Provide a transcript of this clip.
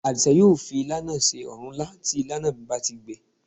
Àdìsá yóò fi ilá náà se òrúnlá tí ilá náà bá ti gbẹ